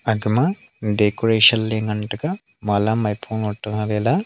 aka ma decoration le ngan tai ga mala maipo --